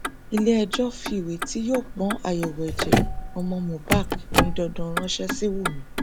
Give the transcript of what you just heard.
iléẹjọ fìwé tí yóò pọn àyẹwò ẹjẹ ọmọ mohbak ní dandan ránṣẹ sí wumi